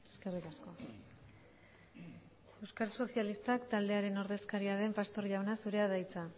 eskerrik asko euskal sozialistak taldearen ordezkaria den pastor jauna zurea da hitza